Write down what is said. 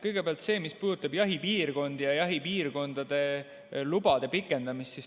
Kõigepealt see, mis puudutab jahipiirkondi ja jahipiirkondade lubade pikendamist.